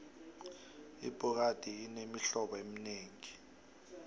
ibhokadi inemihlobo eminengi